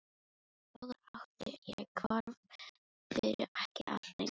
Bróður átti ég er hvarf fyrir ekki allt löngu.